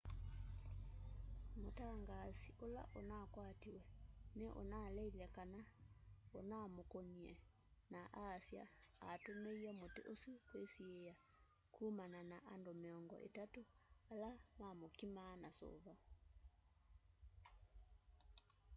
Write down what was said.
mũtangaasi ũla unakwatiwe ni unaleite kana unamkũnie na aasya atũmie mũti ũsũ kwisiia kũmana na andũ miongo itatũ ala mamkimaa na suva